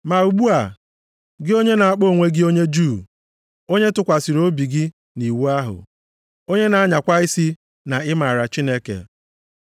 Ma ugbu a, gị onye na-akpọ onwe gị onye Juu, onye tụkwasịrị obi gị nʼiwu ahụ, onye na-anyakwa isi na ị maara Chineke,